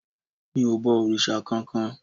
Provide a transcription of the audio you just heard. mi o bọ òrìṣà kan-kan